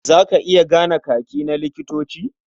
Za ka iya gane Kaki na likitoci? Can you identify the uniform of doctors?